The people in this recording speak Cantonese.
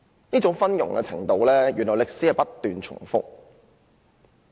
如此昏庸的情況，原來歷史是會不斷重複的。